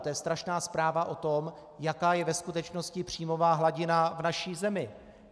To je strašná zpráva o tom, jaká je ve skutečnosti příjmová hladina v naší zemi.